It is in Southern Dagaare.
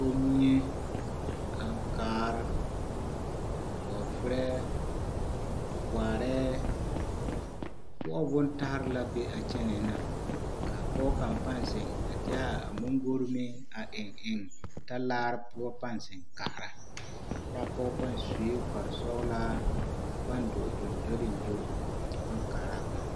Kommie, aŋkaare, bɔɔferɛɛ, waarɛɛ, koɔbo bontare la be a kyɛnɛɛ na ka pɔge kaŋ pãã zeŋ a deɛ moŋgori meŋ a eŋ eŋ talaare poɔ pãã zeŋ kaara kyɛ a pɔge pãã sue kpare sɔgelaa a pãã dɔɔ gyoŋgyoleŋgyo kyɛ pãã kaaraa boma.